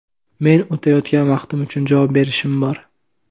Meni o‘tayotgan vaqtim uchun javob berishim bor.